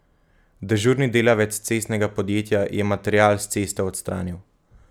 Dežurni delavec cestnega podjetja je material s ceste odstranil.